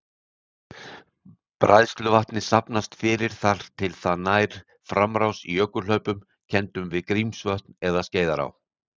Bræðsluvatnið safnast fyrir þar til það nær framrás í jökulhlaupum kenndum við Grímsvötn eða Skeiðará.